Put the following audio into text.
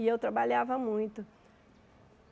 E eu trabalhava muito.